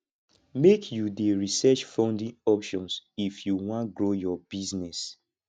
make you dey research funding options if you wan grow your business